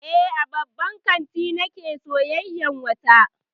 Eh, a babban kanti nake sayyayar wata.